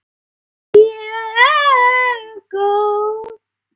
Mjög góð.